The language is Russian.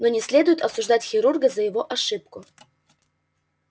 но не следует осуждать хирурга за его ошибку